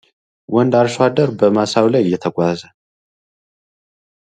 ወንድ አርሶአደር በማሳ ላይ እየተጓዘ